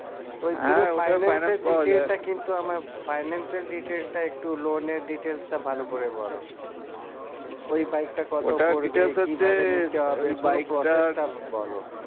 কিন্তু আমার finance এর detail টা একটু loan এর details টা ভালো করে বলো process টা বলো